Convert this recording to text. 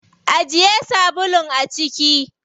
Ajiye sabulun a ciki.